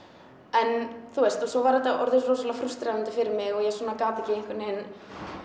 en þú veist og svo var þetta orðið rosalega frústrerandi fyrir mig og ég gat ekki einhvern veginn